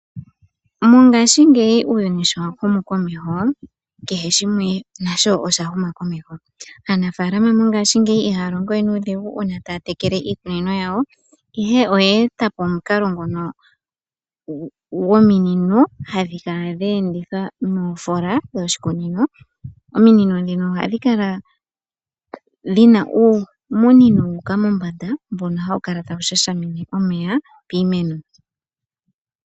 Mongaashingeyi uuyuni sho wahumu komeho kehe shimwe nasho osha huma komeho aanafaalama mongaashingeyi ihaya longo we nuudhigu uuna taya tekele iikunino yawo, ihe oya etapo omukalo ngoka gominino hadhi kala dha endithwa moshikunino. Ominino ndhino ohadhi kala dhimwe uumunino wa uka mombanda mbono hawu kala tawu shashamine omeya piimeno.